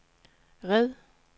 red